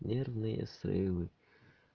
нервные срывы